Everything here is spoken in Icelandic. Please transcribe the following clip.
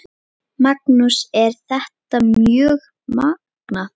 Magnús: Er þetta mjög magnað?